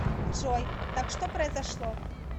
джой так что произошло